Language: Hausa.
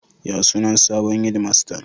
Ya sunan sabon hedimastan?